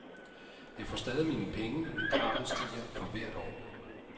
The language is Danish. Jeg får stadig mine penge, men kravet stiger for hvert år.